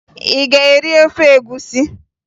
Ị ga-eri ofe egwusi?